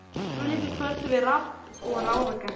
Svo líður kvöldið við rabb og ráðagerðir.